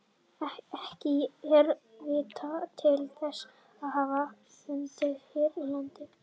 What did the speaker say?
Ekki er vitað til þess að hann hafi fundist hér á landi.